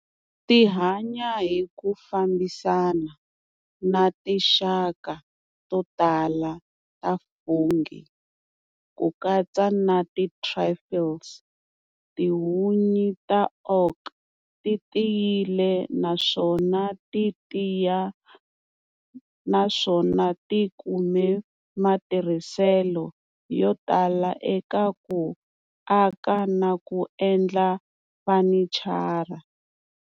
Ti hanya hiku fambisana na tinxaka to tala ta fungi kukatsa na ti truffles. Tihunyi ta oak ti tiyile naswona ti tiya, naswona ti kume matirhiselo yo tala eka ku aka naku endla fanichara.